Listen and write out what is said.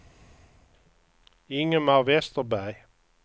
Ingemar Vesterberg